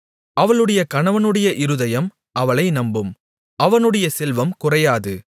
அவளுடைய கணவனுடைய இருதயம் அவளை நம்பும் அவனுடைய செல்வம் குறையாது